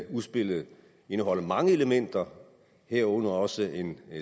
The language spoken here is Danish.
udspillet indeholder mange elementer herunder også en